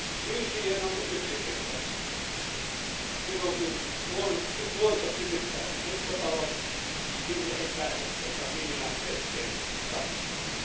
Syy siihen on yksinkertainen silloin kun luonto sytyttää metsäpalon, sinne ei pääse millään vehkeellä sammuttamaan.